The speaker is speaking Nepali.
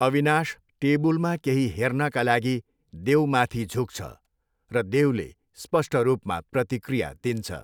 अविनाश टेबुलमा केही हेर्नका लागि देवमाथि झुक्छ र देवले स्पष्ट रूपमा प्रतिक्रिया दिन्छ।